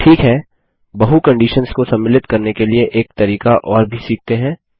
ठीक है बहु कंडिशन्स को सम्मिलित करने के लिए एक तरीका और भी सीखते हैं